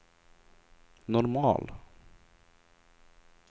normal